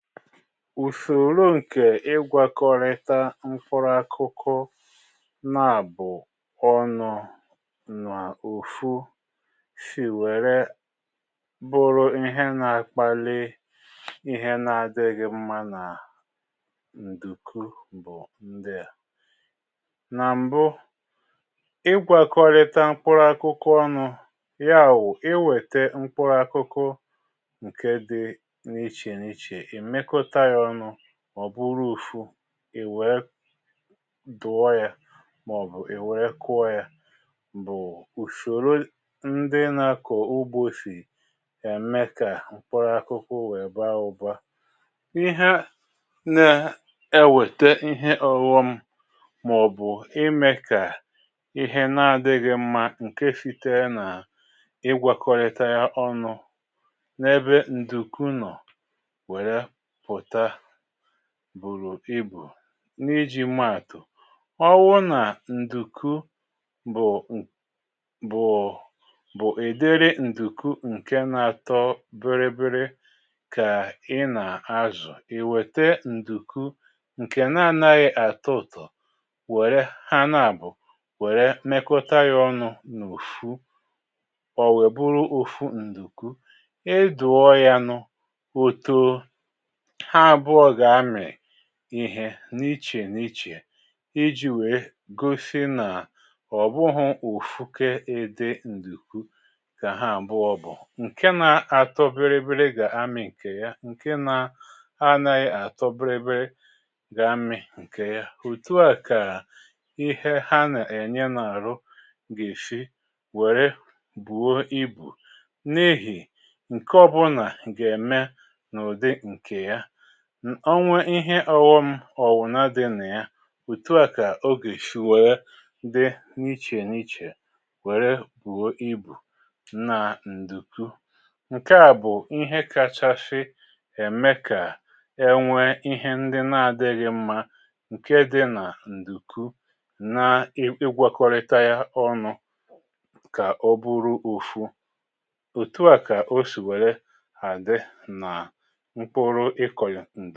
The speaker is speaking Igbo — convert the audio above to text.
Usòro ǹkè ịgwȧkọrịta mkpụrụ akụkụ nabụ̀ ọnụ̇ nà otu sì wère bụrụ ihe nà-akpali ihe nà-adịghị mma nà ǹdùku bụ̀ ndị a: nà m̀bụ, ịgwȧkọrịta mkpụrụ akụkụ ọnụ̇, ya bụ, i wète mkpụrụ akụkụ ǹke dị n’iche n’iche, i mekọta ya ọnụ, ọ̀ buru otu, ì wèe dọọ ya màọ̀bụ̀ ì wèe kụọ ya, bụ̀ ùsòro ndị nȧ-ȧkọ̀ ugbo sì ème kà mkpụrụ akụkụ wèe baa ụba. Ihe na-ewète ihe ọghọ̇ m mà ọ̀bụ̀ imėkà ihe na-adịghị̇ mma ǹke sitere nà ịgwakọrịta ya ọnụ̇ n’ebe ǹdùkú nọ̀ were pụta bùrù ibù. N’iji̇ ma àtụ̀, ọbụrụ nà ǹdùku bụ̀ ǹ bụ̀ bụ ụdịrị ǹdùku ǹke nȧ-atọ biri biri kà ị nà-azụ̀, ì wète ǹdùku ǹkè na-anaghị àtọ ụtọ̀ wère ha nȧ-àbụ̀ wère mekọta yȧ ọnụ n’òtù, ò wèe bụrụ otu ǹdùku. Ị dọọ yȧ nụ, otoo, ha àbụọ gà-amị̀ ihe n’ichè n’ichè iji̇ wèe gosi nà ọ̀ bụghị òfukė ụdị ǹdùku kà ha àbụọ bụ̀. Nkè na àtọ bịrịbịrị gà-amị̀ ǹkè ya, ǹkè na anaghị àtọ bịrịbịrị gà-amị̀ ǹkè ya. Otù a kà ihe ha nà-ènye n’àhụ ga esi wèrè bùo ibù n’ihì, ǹkè ọbụlà gà-ème n’ụ̀dị ǹkè ya. O nwe ihe ọghọm ọ̀bụ̀na dɪ nà ya, òtu à kà ọ ga esi wèe dị n’ichè n’ichè wère buo ibù nà ǹdùku. Nkè a bụ̀ ihe kachasị ème kà e nwė ihe ndị na-adịghị mmȧ ǹke dị nà ǹdùku nà-ịgwakọrịta ya ọnụ̇ kà ọ bụrụ otu. Otu à kà o sì wère àdị nà mkpụrụ ịkọ ya